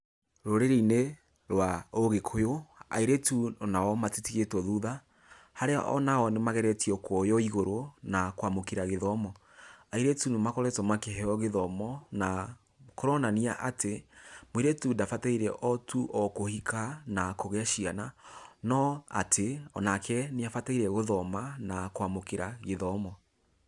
Rũrĩrĩ-inĩ rwa ũgĩkũyũ, airĩtu onao matitigĩtwo thutha, harĩa onao nĩ mageretie kuoywo igũrũ na kwamũkĩra gĩthomo. Airĩtu nĩ makoretwo makĩheo gĩthomo na kũronania atĩ, mũirĩtũ ndabataire otu o kũhika na kũgĩa ciana, no atĩ onake nĩabataire gũthoma na kwamũkĩra gĩthomo.